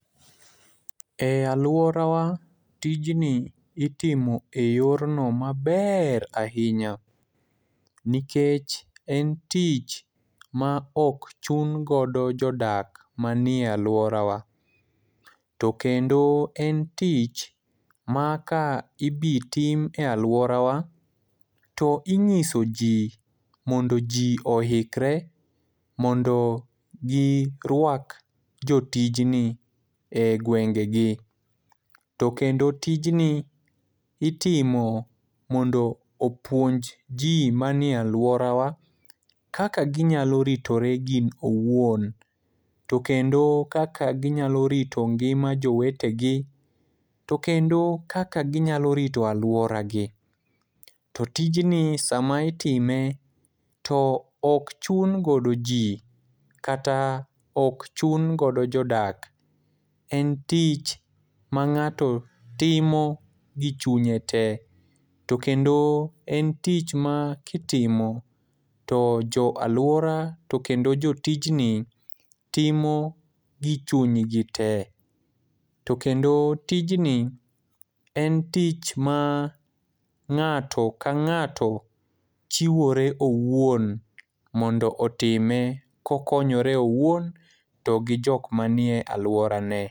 E alworawa, tijni itimo e yorno maber ahinya, nikech en tich ma ok chun godo jodak manie alworawa, to kendo en tich ma ka ibitim e alworawa, to ing'iso ji mondo ji oikre mondo girwak jotijni e gwengegi, to kendo tijni itimo mondo opuonj ji manie alworawa kaka ginyalo ritore giwuon, to kendo kaka ginyalo rito ngima jowetegi, to kendo kaka ginyalo rito alworagi. To tijni sama itime, to ok chun godo ji kata ok chun godo jodak. En tich ma ng'ato timo gi chunye te, to kendo en tich ma kitimo to jo alwora to kendo jotijni timo gi chunygi te, to kendo tijni en tich ma ng'ato ka ng'ato chiwore owuon mondo otime kokonyore owuon to gi jok manie alworane.